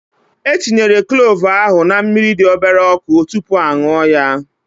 E tinyere klove ahụ na mmiri dị obere ọkụ tupu a ṅụọ ya